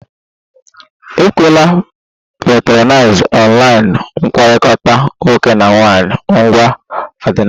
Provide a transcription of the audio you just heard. Ekwela patronize online mkpakọrịta nwoke na nwaanyị ngwa ọdịnala!